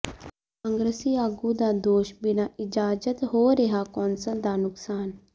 ਕਾਂਗਰਸੀ ਆਗੂ ਦਾ ਦੋਸ਼ ਬਿਨਾਂ ਇਜਾਜ਼ਤ ਹੋ ਰਿਹਾ ਕੌਂਸਲ ਦਾ ਨੁਕਸਾਨ